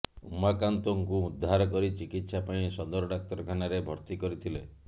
ଉମାକାନ୍ତଙ୍କୁ ଉଦ୍ଧାର କରି ଚିକିତ୍ସା ପାଇଁ ସଦର ଡାକ୍ତରଖାନାରେ ଭର୍ତ୍ତି କରିଥିଲେ